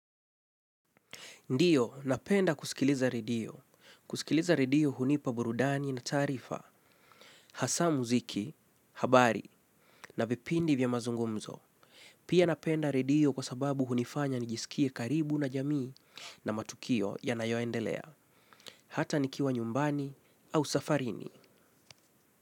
Ndio, napenda kusikiliza redio. Kusikiliza redio hunipa burudani na taarifa, hasa muziki, habari na vipindi vya mazungumzo. Pia napenda redio kwa sababu hunifanya nijisikie karibu na jamii na matukio ya nayoendelea. Hata nikiwa nyumbani au safarini.